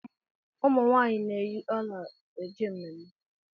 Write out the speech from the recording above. Ụmụ nwaanyị na-eyi ọla e je mmemme.